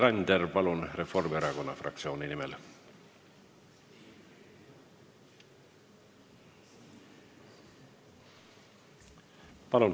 Laine Randjärv, palun, Reformierakonna fraktsiooni nimel!